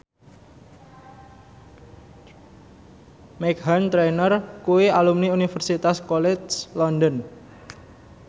Meghan Trainor kuwi alumni Universitas College London